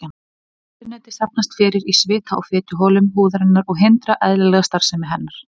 Óhreinindin safnast fyrir í svita- og fituholum húðarinnar og hindra eðlilega starfsemi hennar.